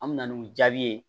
An mi na n'u jaabi ye